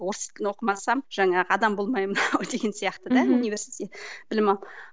орыс тілін оқымасам жаңағы адам болмаймын ау деген сияқты да университетте білім алу